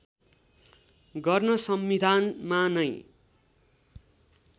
गर्न संविधानमा नै